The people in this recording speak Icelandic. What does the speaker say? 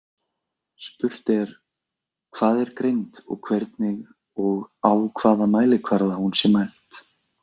Spurt er hvað er greind og hvernig og á hvaða mælikvarða hún sé mæld.